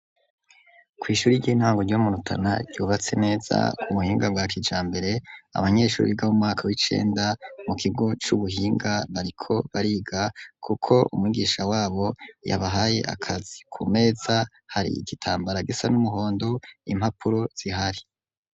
Kwishuri ry'intango ryomu Rutana ryubatse neza ku buhinga bwa kijambere abanyeshuri biga mu mwaka w'icenda mu kigo cu buhinga nariko bariga kuko umugisha wabo yabahaye akazi ku meza hari igitambara gisa n'umuhondo impapuro zihari.